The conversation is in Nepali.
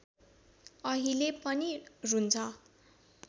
अहिले पनि रुन्छ